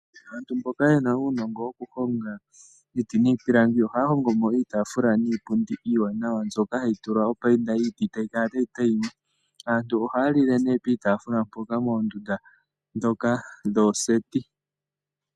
Aantu mboka ye na uunogo wokuhoga iiti niipilangi oha hogo mo iitafula niipundi iwanawa. Mbyoka hayi tulwa opainda yiiti tayi kala tayi tayima. Aantu oha lile ne piitafula mpoka moondundu dhoka dhooseti.